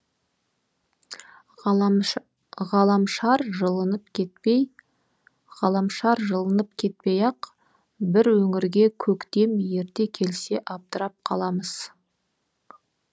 ғаламшар жылынып кетпей ғаламшар жылынып кетпей ақ бір өңірге көктем ерте келсе абдырап қаламыз